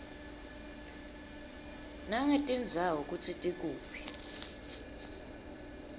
nangetindzawo kutsi tikuphi